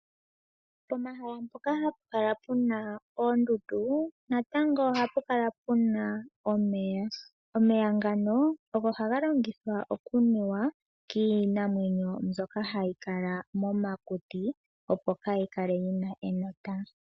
Pomahala mpoka hapu kala puna oondundu natango ohapu kala puna omeya . Omeya ngano ogo haga longithwa okunuwa kiinamwenyo mbyoka hayi kala momakuti opo kayi kale yina enota.